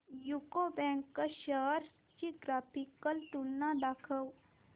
UCO bank shares ची graphical तुलना दाखव